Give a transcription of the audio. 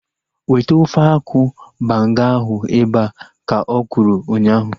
Weta ofe akwụ banga ahu ebea! Ka okwuru ụnyaahụ